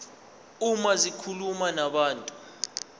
uma zikhuluma nabantu